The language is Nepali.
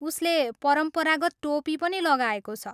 उसले परम्परागत टोपी पनि लगाएको छ।